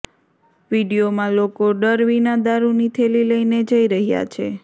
વીડિયોમાં લોકો ડર વિના દારૂની થેલી લઇને જઇ રહ્યાં છે